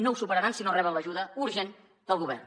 no ho superaran si no reben l’ajuda urgent del govern